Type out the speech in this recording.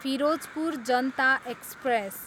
Firozpur Janata express